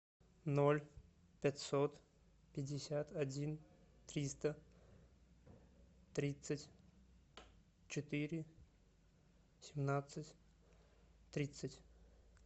ноль пятьсот пятьдесят один триста тридцать четыре семнадцать тридцать